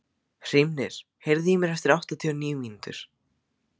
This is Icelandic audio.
Hrímnir, heyrðu í mér eftir áttatíu og níu mínútur.